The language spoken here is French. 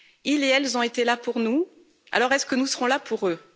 Ils et elles ont été là pour nous, alors est ce que nous serons là pour eux?